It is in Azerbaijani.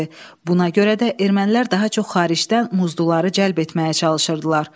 Buna görə də ermənilər daha çox xaricdən muzluları cəlb etməyə çalışırdılar.